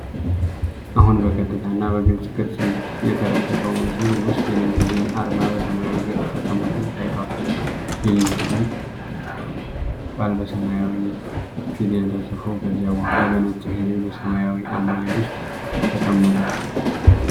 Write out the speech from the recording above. አሁን በቀጥታ እና በግልጽ ቅርጽ እንሂድ። የተለቀቀው ምስል ውስጥ የLinkedIn አርማ በሰማያዊ ቅርጽ ተቀምጦ ታይቷል። የ“ሊንክድ ኢን” ቃል በሰማያዊ ፊደል ተጻፎ ከዚያ በኋላ በነጭ ፊደል በሰማያዊ አሞሌ ውስጥ ተቀመጠ።